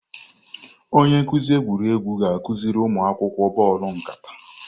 Onye nkuzi egwuregwu ga-akụziri ụmụ akwụkwọ bọọlụ nkata.